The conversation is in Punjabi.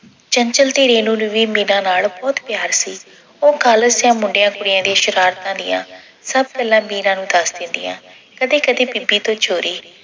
ਚੰਚਲ ਤੇ ਰੇਨੂੰ ਨੂੰ ਵੀ ਮੀਰਾ ਨਾਲ ਬਹੁਤ ਪਿਆਰ ਸੀ ਉਹ college ਦੀਆਂ ਮੁੰਡਿਆਂ-ਕੁੜੀਆਂ ਦੀਆਂ ਸ਼ਰਾਰਤਾਂ ਦੀਆਂ ਸਭ ਗੱਲਾਂ ਮੀਰਾ ਨੂੰ ਦੱਸ ਦਿੰਦੀਆਂ। ਕਦੀ-ਕਦੀ ਬੀਬੀ ਤੋਂ ਚੋਰੀ